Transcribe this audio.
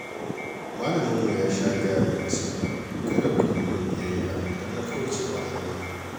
Malaminmu ya sha gaya mana ce, kada ku yi min biyya idan na kauce wa hanya.